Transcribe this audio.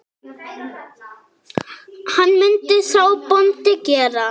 Hvað myndi sá bóndi gera?